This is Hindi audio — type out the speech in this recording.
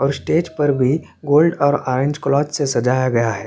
और स्टेज पर भी गोल्ड और आयरन क्लॉथ से सजाया गया हैं।